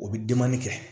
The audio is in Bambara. O bi kɛ